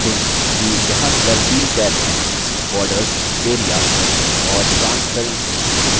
ध्यान दें कि यहाँ पर तीन tabs हैंborders area और transparency